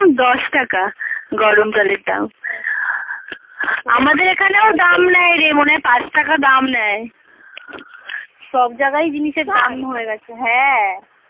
দাম দশ টাকা গরম জলের দাম আমাদের এখানে দাম নেয় রে মনে হয় পাঁচ টাকা দাম নেয় সব জাগায় জিনিসের দাম হয়ে গেছে হ্যাঁ